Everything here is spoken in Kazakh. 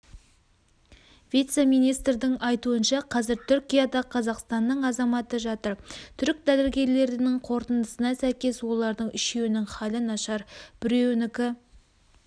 вице-министрдің айтуынша қазір түркияда қазақстанның азаматы жатыр түрік дәрігерлерінің қорытындысына сәйкес олардың үшеуінің халі нашар біреуінікі